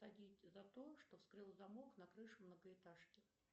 за то что вскрыл замок на крыше многоэтажки